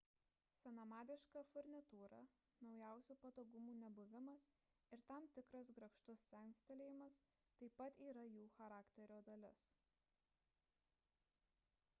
senamadiška furnitūra naujausių patogumų nebuvimas ir tam tikras grakštus senstelėjimas taip pat yra jų charakterio dalis